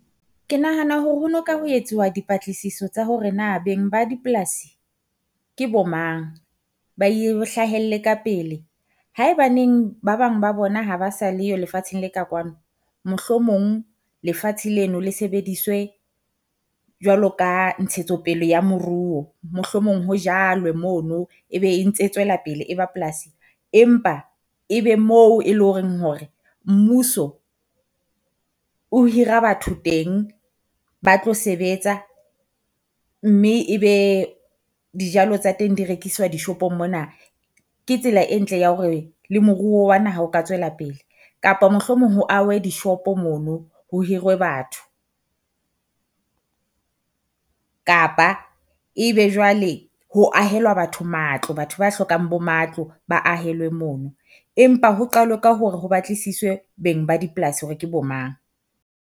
Ke nahana hore ho no ka ho etsuwa dipatlisiso tsa hore na beng ba dipolasi ke bo mang, ba e hlahelle ka pele. Haebaneng ba bang ba bona ha ba sa leyo lefatsheng le ka kwano. Mohlomong lefatshe leno le sebediswe jwalo ka ntshetsopele ya moruo. Mohlomong ho jalwe mono ebe e ntse tsoela pele e ba polasing, empa e be mo e le ho reng hore mmuso o hira batho teng ba tlo sebetsa mme e be dijalo tsa teng di rekiswa dishopong mona. Ke tsela e ntle ya hore le moruo wa naha o ka tswela pele, kapa mohlomong ho ahwe dishopo mono ho hirwe batho. Kapa ebe jwale ho ahelwa batho matlo, batho ba hlokang bo matlo ba ahelwe mono, empa ho qalwe ka hore ho batlisiswe beng ba dipolasi hore ke bo mang.